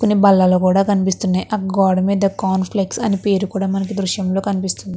కొన్ని బాల్లలు కూడా కనిపిస్తున్నాయి గోడ మీద కాన్ఫ్లెక్స్ అని పేరు కూడా మనకు దృశ్యంలో కనిపిస్తుంది.